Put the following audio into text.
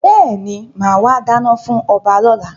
Bẹ́ẹ̀ni, máa wà dáná fún ọba lọ́la.